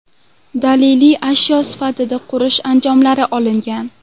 Daliliy ashyo sifatida qurilish anjomlari olingan.